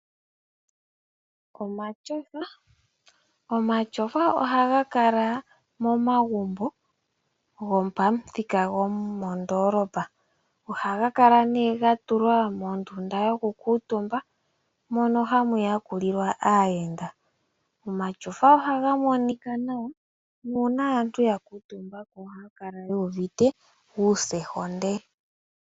Omatyofa Omatyofa ohaga kala momagumbo gopamuthika gopandoolopa. Ohaga kala nduno ga tulwa mondunda yokukuutumba, mono hamu yakulilwa aayenda. Omatyofa ohaga monika nawa nuuna aantu ya kuutumba ko ohaya kala yu uvite ombili.